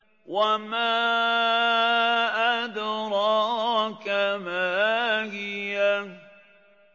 وَمَا أَدْرَاكَ مَا هِيَهْ